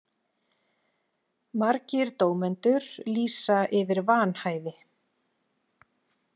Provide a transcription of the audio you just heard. Margir dómendur lýsa yfir vanhæfi